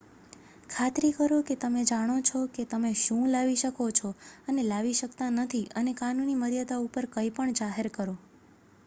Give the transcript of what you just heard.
ખાતરી કરો કે તમે જાણો છો કે તમે શું લાવી શકો છો અને લાવી શકતા નથી અને કાનૂની મર્યાદા ઉપર કંઈપણ જાહેર કરો